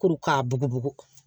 Kuru k'a bugubugu